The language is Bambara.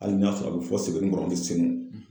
Hali n'a sɔrɔ a bɛ fɔ Sebenikɔnɔ a ni Senu.